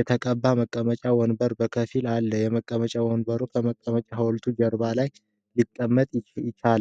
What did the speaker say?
የተቀባ መቀመጫ ወንበር በከፊል አለ። የመቀመጫ ወንበር ከቀጭኔው ሐውልት ጀርባ ለምን ሊቀመጥ ቻለ?